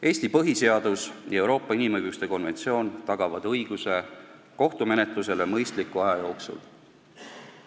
Eesti põhiseadus ja Euroopa inimõiguste konventsioon tagavad õiguse kohtumenetlusele mõistliku aja jooksul.